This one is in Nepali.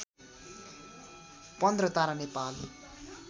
पन्ध्र तारा नेपाली